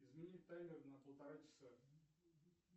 изменить таймер на полтора часа